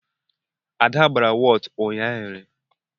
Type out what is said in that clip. Ada gbara wọtu ụnyaahụ.